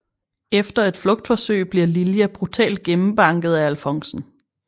Efter et flugtforsøg bliver Lilja brutalt gennembanket af alfonsen